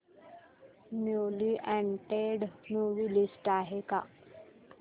newly added movie list आहे का